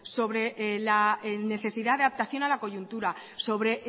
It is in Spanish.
sobre la necesidad de adaptación a la coyuntura sobre